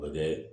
O bɛ kɛ